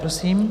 Prosím.